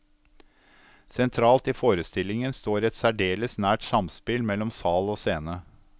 Sentralt i forestillingen står et særdeles nært samspill mellom sal og scene.